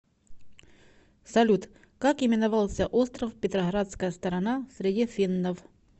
салют как именовался остров петроградская сторона среди финнов